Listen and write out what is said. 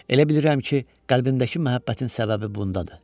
Elə bilirəm ki, qəlbimdəki məhəbbətin səbəbi bundadır.